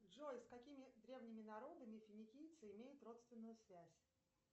джой с какими древними народами финикийцы имеют родственную связь